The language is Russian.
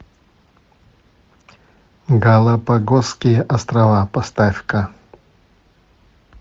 галапагосские острова поставь ка